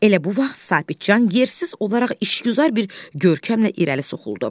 Elə bu vaxt Sabitcan yersiz olaraq işgüzar bir görkəmlə irəli soxuldu.